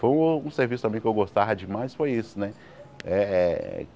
Foi um um serviço também que eu gostava demais, foi isso, né eh?